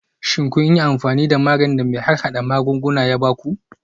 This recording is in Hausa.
Shin kun yi amfani da maganin da mai harhada magunguna ya ba ku?